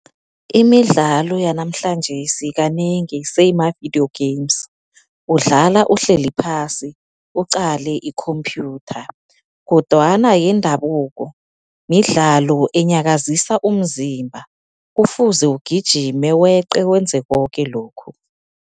Imidlalo yanamhlanjesi kanengi seyimavidiyo games, udlala uhleli phasi uqale ikhomphyutha. Kodwana yendabuko midlalo enyakazisa umzimba, kufuze ugijime weqe wenze koke lokhu.